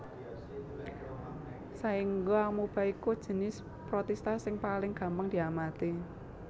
Saéngga Amoeba iku jinis Protista sing paling gampang diamati